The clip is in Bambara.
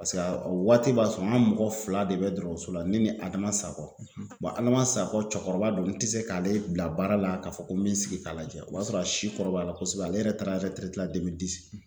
a waati b'a sɔrɔ an ka mɔgɔ fila de bɛ dɔgɔtɔrɔso la ne ni Adama Sakɔ Adama Sakɔ cɛkɔrɔba don n te se k'ale bila baara la k'a fɔ ko n be n sigi k'a lajɛ o b'a sɔrɔ a si kɔrɔbayala kosɛbɛ ale yɛrɛ taara